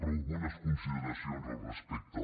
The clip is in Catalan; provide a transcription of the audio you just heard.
però algunes consideracions al respecte